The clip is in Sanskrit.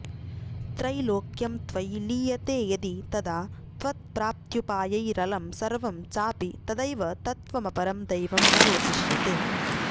त्रैलोक्यं त्वयि लीयते यदि तदा त्वत्प्राप्त्युपायैरलं सर्वं चापि तवैव तत्त्वमपरं दैवं न रोचिष्यते